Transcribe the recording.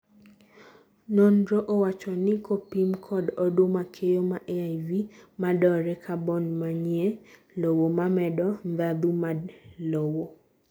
nonro owacho ni kopim kod oduma keyo ma AIV madore cabon manie lowo mamedo ndhandu mad lowo